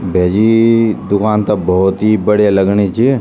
भैजी दुकान त भौत बडिया लगणी च।